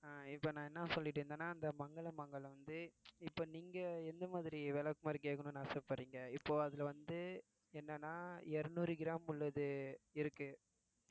அஹ் இப்ப நான் என்ன சொல்லிட்டு இருந்தேன்னா அந்த மங்கள் அண்ட் மங்கள் வந்து இப்ப நீங்க எந்த மாதிரி விளக்குமாறு கேட்கணும்னு ஆசைப்படுறீங்க இப்போ அதுல வந்து என்னன்னா இருநூறு gram உள்ளது இருக்கு